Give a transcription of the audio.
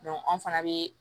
an fana bɛ